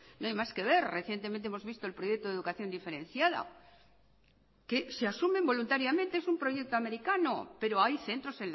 no hay más que ver recientemente hemos visto el proyecto de educación diferenciada que se asumen voluntariamente es un proyecto americano pero hay centros